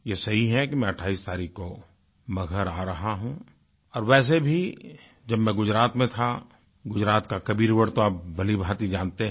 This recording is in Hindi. ये सही है कि मैं 28 तारीख़ को मगहर आ रहा हूँ और वैसे भी जब मैं गुजरात में था गुजरात का कबीरवड तो आप भलीभांति जानते हैं